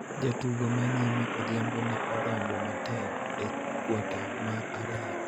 Jatugo ma nyime Odhiambo ne odonjo matek e kuota mar ariyo